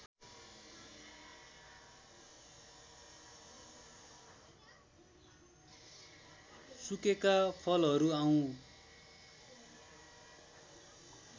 सुकेका फलहरू आउँ